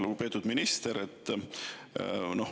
Lugupeetud minister!